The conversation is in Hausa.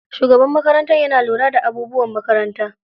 Shugaban makaranta yana lura da abubuwan makaranta.